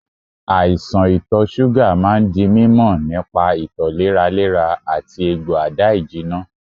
Àìsàn ito suga máa ń di mímọ nípa ito léraléra àti egbò ada-ijina.